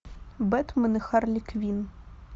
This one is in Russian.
бэтмен и харли квинн